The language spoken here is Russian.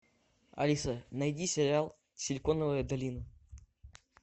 алиса найди сериал силиконовая долина